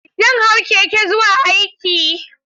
Zan hau keke zuwa aiki.